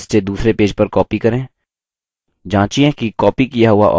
एक object को पहले पेज से दूसरे पेज पर copy करें